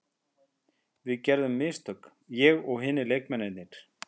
Við gerðum mistök, ég og hinir leikmennirnir.